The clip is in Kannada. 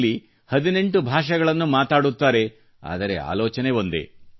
ಇಲ್ಲಿ 18 ಭಾಷೆಗಳನ್ನು ಮಾತಾಡುತ್ತಾರೆ ಆದರೆ ಆಲೋಚನೆ ಒಂದೇ